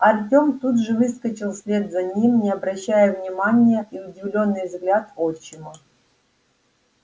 артем тут же выскочил вслед за ним не обращая внимания и удивлённый взгляд отчима